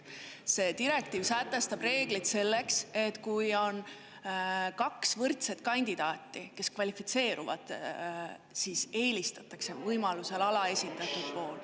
See direktiiv sätestab reeglid selleks, et kui on kaks võrdset kandidaati, kes kvalifitseeruvad, siis eelistatakse võimaluse korral alaesindatud poolt.